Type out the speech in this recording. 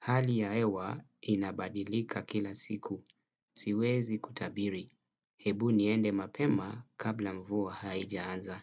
Hali ya hewa inabadilika kila siku. Siwezi kutabiri. Hebu niende mapema kabla mvua haijaanza.